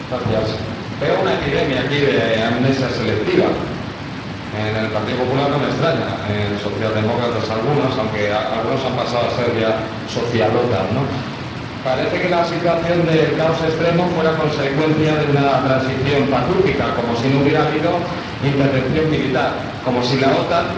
Señor Presidente, veo una epidemia aquí de amnesia selectiva. En el Grupo Popular, no me extraña en los socialdemócratas, algo, aunque algunos han pasado a ser ya social OTAN Parece que la situación de caos extremo fuera consecuencia de una transición pacífica, como si no hubiera habido intervención militar, como si la OTAN,